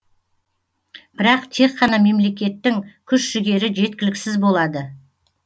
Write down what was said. бірақ тек қана мемлекеттің күш жігері жеткіліксіз болады